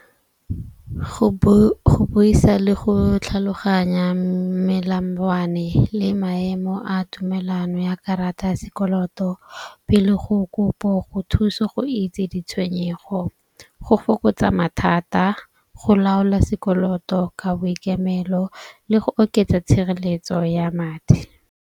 Go boisa le go tlhaloganya melangwane le maemo a tumelano ya karata ya sekoloto pele go kopo go thuso go itse ditshwenyego. Go fokotsa mathata, go laola sekoloto ka boikemelo le go oketsa tshireletso ya madi.